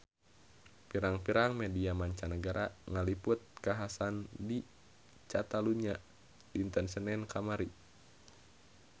Pirang-pirang media mancanagara ngaliput kakhasan di Catalunya dinten Senen kamari